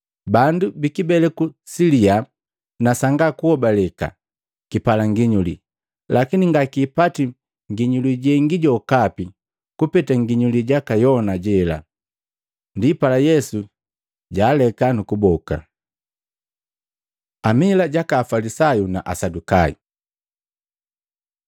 Bandu bikibeleku salyaa na sanga kuhobaleka! Kipala nginyuli, lakini ngakipati nginyuli jengi jokapi kupeta nginyuli jaka Yona jela.” Ndipala Yesu jwaaleka nu kuboka. Amila jaka Afalisayu na Asadukayo Maluko 8:14-21